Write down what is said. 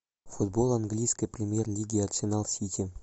футбол английской премьер лиги арсенал сити